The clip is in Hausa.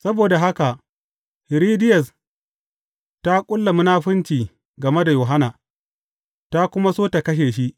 Saboda haka, Hiridiyas ta ƙulla munafunci game da Yohanna, ta kuma so ta kashe shi.